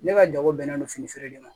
Ne ka jago bɛnnen don fini feere de ma